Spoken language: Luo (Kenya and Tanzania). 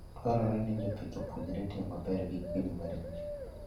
Dwarore ni jopith opuonjre tiyo maber gi kwiri maricho.